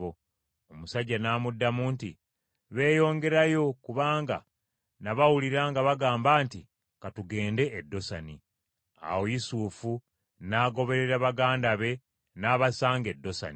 Omusajja n’amuddamu nti, “Beeyongerayo, kubanga nabawulira nga bagamba nti, ‘Ka tugende e Dosani.’ ” Awo Yusufu n’agoberera baganda be n’abasanga e Dosani.